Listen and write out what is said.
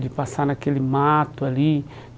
De passar naquele mato ali.